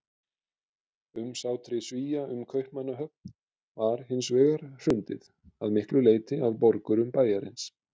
Umsátri Svía um Kaupmannahöfn var hins vegar hrundið, að miklu leyti af borgurum bæjarins.